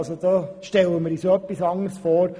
Wir stellen uns das etwas anders vor.